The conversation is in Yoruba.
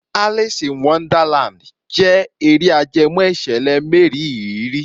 Alice in Wonderland jẹ́ eré ajẹmọ́ ìṣẹ̀lẹ̀ mériìrí.